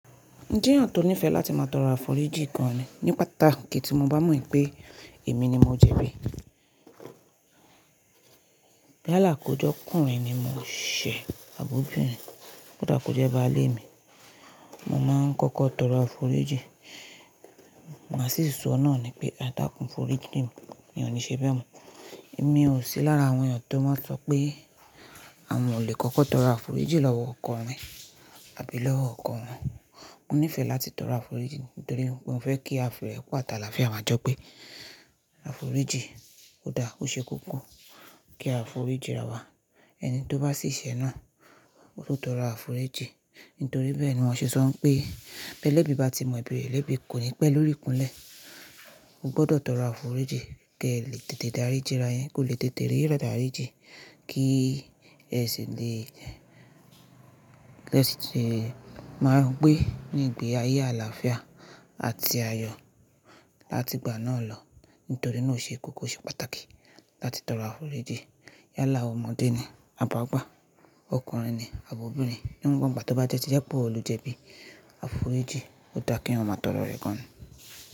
Mojé èyàn tó nífẹ̀ẹ́ láti máa tọrọ àfòríjì gan an ni, ní pàtàkí tí mo bá mọ̀ pé èmi ni mo jẹ̀bí. Yálà kó jọ́kùnrin ni mo ṣẹ̀ àbóbìrin, kó dà kó jẹ́ bàálé mi, mo máa kọ́kọ́ tọrọ àfòríjì. Màá sì sọ náà ni pé, edákùn fòríjì mi, mi ò ní ṣe bẹ́ẹ̀ mọ́. Èmi ò sí lára àwọn ènìyàn tó máa n sọ pé, àwọn ò lè kọ́kọ́ tọrọ àfòríjì lọ́wọ́ ọkunrin wọn abí lọ́wọ́ ọkọ wọn. Mo nífẹ̀ẹ́ láti tọrọ àfòríjì, nítorí wipe mofe fẹ́ kí afi irepo ati alàáfía majọ́ gbé àfòríjì ó dáa, ó ṣe kókó. Kí àfòríjì ráwá. Ẹni tó bá ṣì ṣé náà, kó tọrọ àfòríjì. Nítorí bẹ́ẹ̀ ni wọ́n ṣe sọ n pé, bẹ́ẹ̀ bí èlebì bá ti mọ ẹbí rẹ̀ lèbì kò ní pẹ́ lórí ikúnlẹ̀. O gbọdọ̀ tọrọ àfòríjì, kí ẹ lè tètè daríjí ara yin, kòo lè tètè rí idaríjì. Kí ẹ ṣi lè, ẹ ṣi lè máa gbé ní ìgbé ayé alàáfíà àti ayọ̀, láti ìgbà náà lọ. Nítorí náà ó ṣe kókó, ó ṣe pàtàkì láti tọrọ àfòríjì. Yálà ọmọdé ni, àbi ágbà, ọkùnrin ní, àbi obìnrin, niwon igba to bá tie ti jẹ́ pẹ́ iwò lo jẹ̀bí. Àfòríjì ó dáa kí eyan máa tọrọ rẹ̀ gan-an.